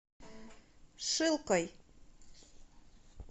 шилкой